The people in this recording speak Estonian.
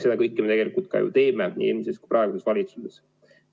Seda kõike me tegelikult ka ju oleme teinud nii eelmises kui praeguses valitsuses.